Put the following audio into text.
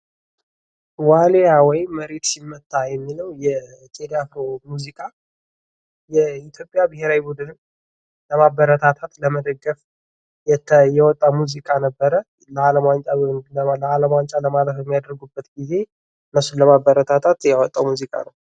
ዋልያ ወይም መሬት ሲመታ የሚልለው የቴዲ አፍሮ ሙዚቃ ፤ የኢትዮጵያ ብሔራዊ ቡድንን ለማበረታታት ለመደገፍ የወጣ ሙዚቃ ነበረ። ለማለፍ ዓለም ዋንጫ ለማለፍ በሚያደርጉበት ጊዜ እነሱን ለማበረታታት ያወጣው ሙዚቃ ነው።